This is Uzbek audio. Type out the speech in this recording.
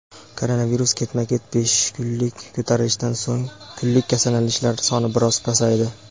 Koronavirus: ketma-ket besh kunlik ko‘tarilishdan so‘ng kunlik kasallanishlar soni biroz pasaydi.